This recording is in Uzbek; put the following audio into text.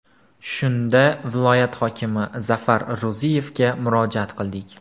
Shunda viloyat hokimi Zafar Ro‘ziyevga murojaat qildik.